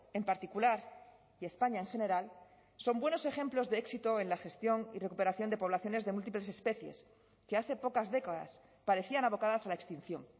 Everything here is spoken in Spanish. en particular y españa en general son buenos ejemplos de éxito en la gestión y recuperación de poblaciones de múltiples especies que hace pocas décadas parecían abocadas a la extinción